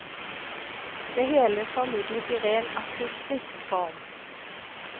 Det hele formidlet i ren akustisk form.